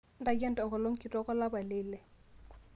ntayu enkolong kitok olapa le ile